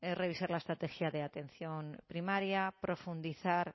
revisar la estrategia de atención primaria profundizar